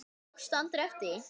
Tókstu aldrei eftir því?